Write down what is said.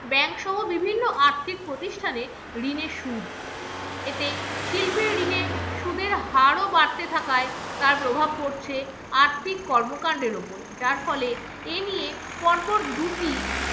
বিভিন্ন আর্থিক প্রতিষ্ঠানে ঋণের সুদ। এতে শিল্পের ঋণের সুদের হারও বাড়তে থাকায় তার প্রভাব পড়ছে আর্থিক কর্মকাণ্ডের উপর যার ফলে এই নিয়ে পরপর দুটি